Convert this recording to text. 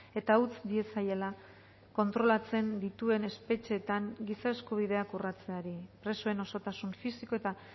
eta utz diezaiela kontrolatzen dituen espetxeetan giza eskubideak urratzeari presoen osotasun fisiko eta